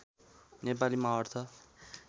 नेपालीमा अर्थ